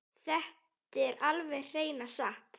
Þetta er alveg hreina satt!